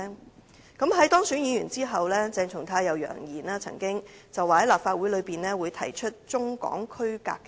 鄭松泰議員當選議員後曾經揚言會在立法會上提出中港區隔的議案。